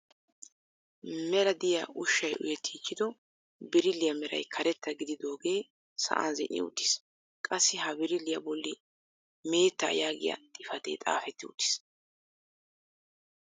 Mela diyaa ushshay uyettiichido birilliyaa meray karettaa gididoogee sa'an zin"i uttiis. qassi ha birilliyaa bolli meettaa yaagiyaa xifatee xaafetti uttiis.